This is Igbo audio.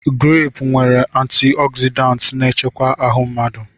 Greepụ nwere antịogzịdaantị na-echekwa ahụ mmadụ.